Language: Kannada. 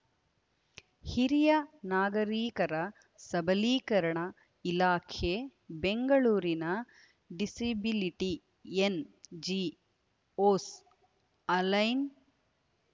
ಹಿರಿಯ ನಾಗರೀಕರ ಸಬಲೀಕರಣ ಇಲಾಖೆ ಬೆಂಗಳೂರಿನ ಡಿಸಿಬಿಲಿಟಿ ಎನ್‌ಜಿಒಸ್‌ ಅಲೈಯನ್